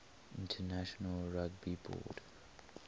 international rugby board